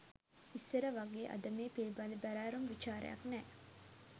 ඉස්සර වගේ අද මේ පිළිබඳ බැරෑරුම් විචාරයක් නෑ